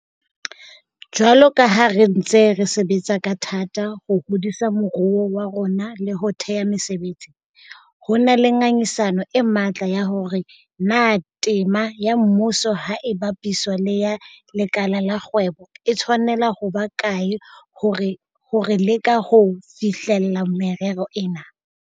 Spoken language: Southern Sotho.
Jwalo ka ha re ntse re sebetsa ka thata ho hodisa moruo wa rona le ho thea mesebetsi, ho na le ngangisano e matla ya hore na tema ya mmuso ha e bapiswa le ya lekala la kgwebo e tshwanela ho ba kae ha re leka ho fihlella merero ena.